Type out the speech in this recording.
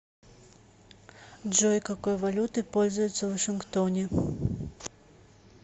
джой какой валютой пользуются в вашингтоне